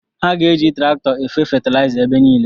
Ha ga-eji traktọ efe fetiliza ebe niile